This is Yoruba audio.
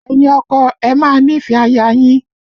Ẹ̀yin ọkọ, ẹ máa nífẹ̀ẹ́ aya yín!